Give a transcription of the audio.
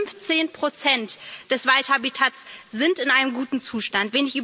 Nur 15 Prozent des Waldhabitats sind in einem guten Zustand.